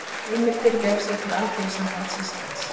Heimildir Vefsetur Alþýðusambands Íslands